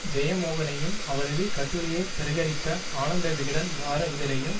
ஜெயமோகனையும் அவரது கட்டுரையை பிரகரித்த ஆனந்த விக்டன் வார இதழையும்